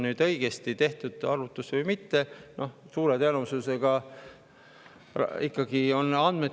Siis ma saan tagurpidi arvutada, kas on tehtud arvutus õigesti või mitte.